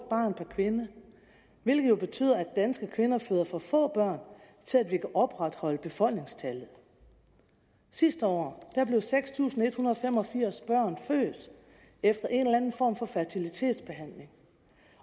barn per kvinde hvilket betyder at danske kvinder føder for få børn til at vi kan opretholde befolkningstallet sidste år blev seks tusind en hundrede og fem og firs børn født efter en eller anden form for fertilitetsbehandling